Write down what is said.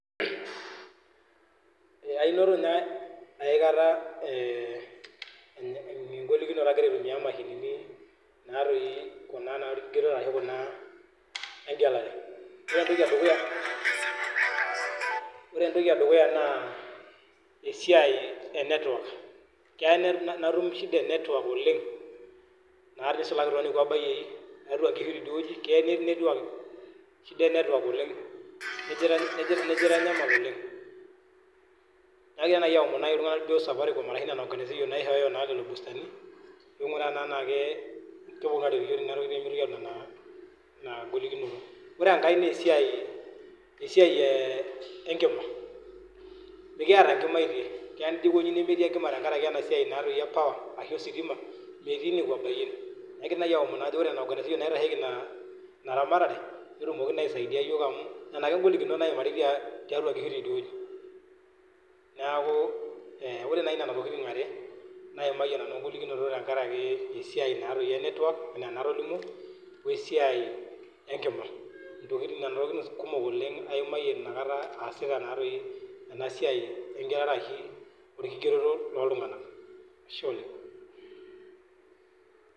Eeh ainoto ninye aikata engolokinoto akira aitumia imashinini natoi olkigerore ashu kuna engelare. Wore entoki edukuya wore entoki edukuya naa esiai e network, keya netum natum shida e network oleng', naa nisulaki toonekwa bayiei tiatua inkishu tediewoji, keya netii network shida e network oleng', nejo aitanyamal oleng'. Nakira nai aomon iltunganak lijo safaricom arashu niana organization naishooyo naa lelo boostani, pee inguraa naa enaa keponu aaret iyiok tenia toki pee mitoki amenaa inia golokinoto. Wore enkae naa esiai esiai enkima, mikiata inkimaitie, keya nijo aikonyi nemetii enkima tenkaraki enasiai naatoi e power, ashu ositima. Metii nekua bayien, akira nai aomonu ajo wore niana organization naitasheiki inia iniaramatare, netumoki naa aisaidia iyiok amu, niana ake ingolikinot naimari tiatua inkishu tediewoji. Neeku wore nai niana tokitin ware, naimayie nanu engolokinoto tenkaraki esiai naatoi e network enaa enatolimuo, wesiai enkima. Intokitin niana tokitin kumok oleng' aimayie oleng' aimayie inakata aasita naatoi ena siai engelare ashu olkigeroto looltunganak. Ashe oleng'.